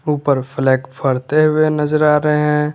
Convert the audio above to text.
ऊपर फ्लैग फरते हुए नजर आ रहे हैं।